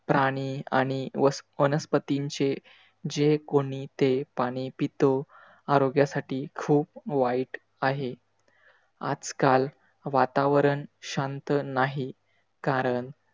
प्राणी आणि वस वनस्पतींचे, जे कोणी ते पाणी पितो आरोग्यासाठी खूप वाईट आहे. आजकाल वातावरण शांत नाही. कारण,